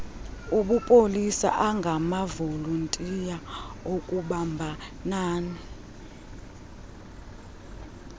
obupolisa angamavolontiya akubambanani